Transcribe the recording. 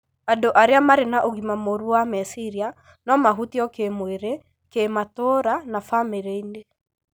Andũ arĩa marĩ na ũgima mũru wa meciria no mahutio kĩĩmwĩrĩ, kĩmatũũra na bamĩrĩ-inĩ.